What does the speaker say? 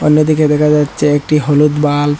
সামনের দিকে দেখা যাচ্ছে একটি হলুদ বাল্ব ।